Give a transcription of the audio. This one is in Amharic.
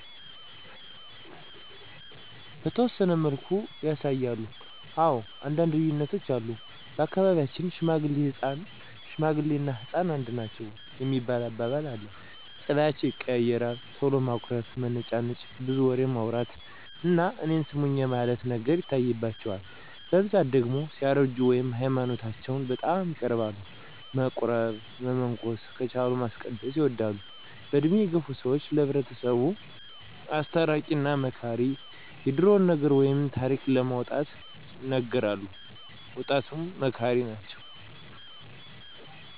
በተወሰነ መልኩ ያሳያሉ። አወ አንዳንድ ልዩነቶች አሉ። በአካባቢያቸን ሽማግሌ እና ህፃን አንድ ናቸዉ የሚባል አባባል አለ። ፀባያቸዉ ይቀያየራል ቶሎ ማኩረፍ፣ መነጫነጭ፣ ብዙ ወሬማዉራት እና እኔን ስሙኝ የማለት ነገር ይታይባቸዋል። በብዛት ደግሞ ሲያረጁ ወደ ሀይማኖታቸዉ በጣም ይቀርባሉ። መቁረብ። መመንኮስ። ከቻሉ ማስቀደስ ይወዳሉ። በእድሜ የገፋ ሰወች ለሕብረተሰቡ አስታራቂ እና መካሪ የድሮዉን ነገር ወይም ታሪክ ለወጣቱ ይነግራሉ። ወጣቱንም መካሪ ናቸዉ።